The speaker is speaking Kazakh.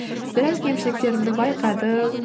біраз кемшіліктерімді байқадым